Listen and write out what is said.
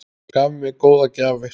Gaf mér góðar gjafir.